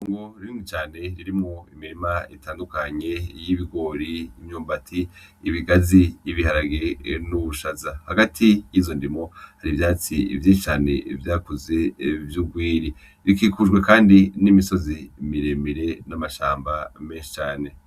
Indimo nini cane irimwo imirima itandukanye y'ibigori, imyumbati, ibigazi, ibiharage n'ubushaza. Hagati y'izo ndimo hari ivyatsi vyinshi cane vyakuze vy'urwiri. Bikikujwe kandi n'imisozi miremire n'amashamba menshi cane.